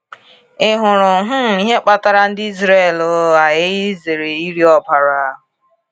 Ị hụrụ um ihe kpatara ndị Izrel ghaghị izere iri ọbara?